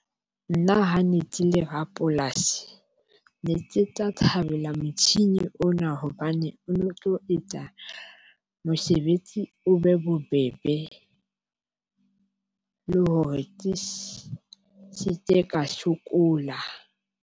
Nna ha ne ke le rapolasi, ne ke tla thabela motjhini ona hobane o no tlo etsa mosebetsi o be bobebe le hore ke se ke ka sokola.